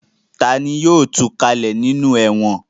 Ta ni yóò tu kalẹ̀ nínú ẹ̀wọ̀n?